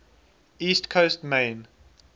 east coast maine